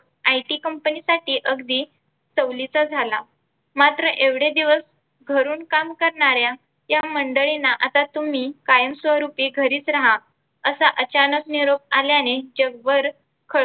IT कंपनीसाठी अगदी चा झाला मात्र एवढे दिवस घरून काम करणाऱ्या या मंडळींना आता तुम्ही कायम स्वरूपी घरीच राहा असा अचानक निरोप आल्याने जगभर खळबळ